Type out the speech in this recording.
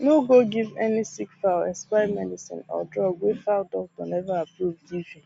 no go give any sick fowl expired medicine or drug wey fowl doctor never approve give you